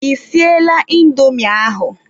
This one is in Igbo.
Ị siela indomi ahụ?